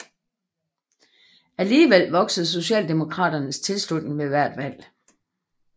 Alligevel voksede Socialdemokraternes tilslutning ved hvert valg